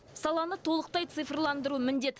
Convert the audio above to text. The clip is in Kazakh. саланы толықтай цифрландыру міндет